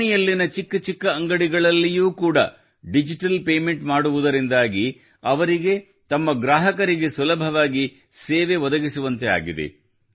ಓಣಿಯಲ್ಲಿನ ಚಿಕ್ಕ ಚಿಕ್ಕ ಅಂಗಡಿಗಳಲ್ಲಿಯೂ ಕೂಡ ಡಿಜಿಟಲ್ ಪೇಮೆಂಟ್ ಮಾಡುವುದರಿಂದಾಗಿ ಅವರಿಗೆ ತಮ್ಮ ಗ್ರಾಹಕರಿಗೆ ಸುಲಭವಾಗಿ ಸೇವೆ ಒದಗಿಸುವಂತೆ ಆಗಿದೆ